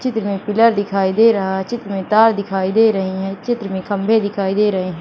चित्र मे पिलर दिखाई दे रहा चित्र मे तार दिखाई दे रहे है चित्र में खंभे दिखाई दे रहे--